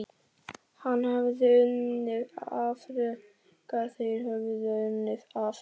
Hann hafði unnið afrek þeir höfðu unnið afrek.